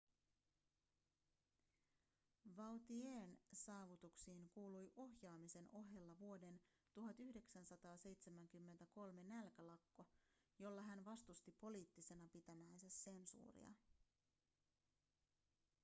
vautier'n saavutuksiin kuului ohjaamisen ohella vuoden 1973 nälkälakko jolla hän vastusti poliittisena pitämäänsä sensuuria